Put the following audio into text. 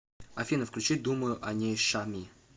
афина включи думаю о ней шами